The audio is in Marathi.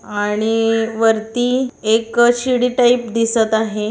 आणि वरती एक शिडी टाइप दिसतं आहे.